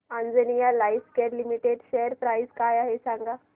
Anjaneya Lifecare limited share price काय आहे सांगा